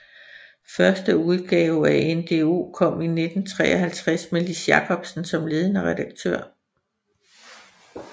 Første udgave af NDO kom i 1953 med Lis Jacobsen som ledende redaktør